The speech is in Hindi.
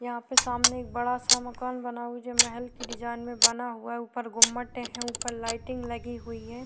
यहाँ पे सामने एक बड़ा सा मकान बना हुआ जो महल की डिज़ाइन में बना हुआ है ऊपर गुंबट है ऊपर लाइटिंग लगी हुई है।